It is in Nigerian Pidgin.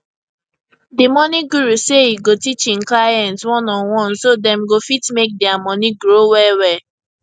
di money guru say e go teach hin clients oneonone so dem go fit make dia money grow well well